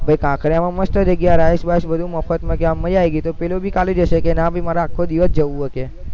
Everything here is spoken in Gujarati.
ભૈ કાંકરિયામાં મસ્ત જગ્યા rides બાઇડ્સ બધું મફતમાં તો કે આમ મજા આવી ગઈ તો પેલો ભી કાલે જશે કે ના ભી મારે આખો દિવસ જવું હશે